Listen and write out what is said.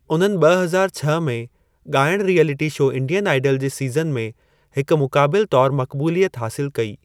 उन्हनि ॿ हज़ार छह में गा॒इणु रियैलिटी शो 'इंडियन आइडल' जे सीज़न में हिकु मुक़ाबिल तौरु मक़बूलियत हासिलु कई।